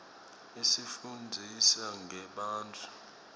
isifunndzisa ngebantfu